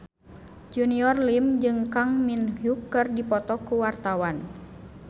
Junior Liem jeung Kang Min Hyuk keur dipoto ku wartawan